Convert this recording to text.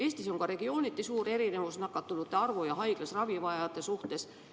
Eestis on regiooniti suur erinevus nakatunute ja haiglas ravi vajajate arvus.